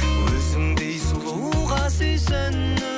өзіңдей сұлуға сүйсіну